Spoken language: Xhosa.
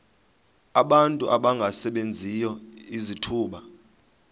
abantu abangasebenziyo izithuba